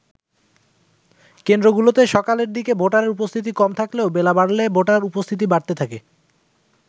কেন্দ্র গুলোতে সকালের দিকে ভোটার উপস্থিতি কম থাকলেও বেলা বাড়লে ভোটার উপস্থিতি বাড়তে থাকে।